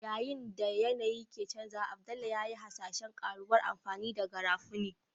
Yayin da yanayi ke canjawa, Abdullah ya yi hasashen ƙaruwar amfani da Garafuni.